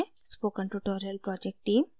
spoken tutorial project team: